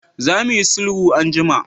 Za mu yi sulhu anjima!